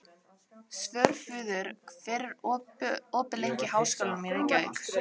Svörfuður, hvað er opið lengi í Háskólanum í Reykjavík?